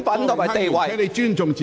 郭榮鏗議員，請你尊重自己。